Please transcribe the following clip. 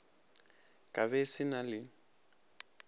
ka be se na le